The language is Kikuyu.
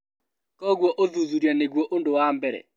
Kwoguo ũthuthuria nĩguo ũndũ wa mbere